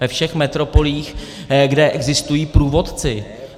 Ve všech metropolích, kde existují průvodci.